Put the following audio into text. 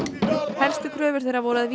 helstu kröfur þeirra voru að